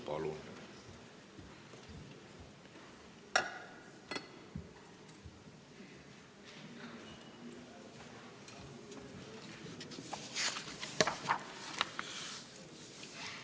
Palun!